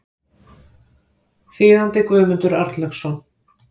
Þýðandi Guðmundur Arnlaugsson.